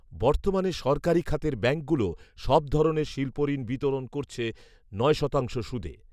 বর্তমানে সরকারি খাতের ব্যাংকগুলো সব ধরনের শিল্পঋণ বিতরণ করছে নয় শতাংশ সুদে